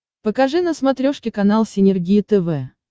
покажи на смотрешке канал синергия тв